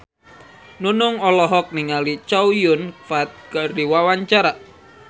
Nunung olohok ningali Chow Yun Fat keur diwawancara